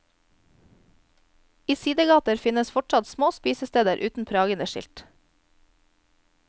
I sidegater finnes fortsatt små spisesteder uten prangende skilt.